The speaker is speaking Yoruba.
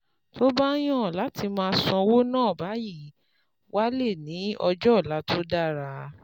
Tó o bá yàn láti máa ṣọ́wó ná báyìí, wàá lè ní ọjọ́ ọ̀la tó dára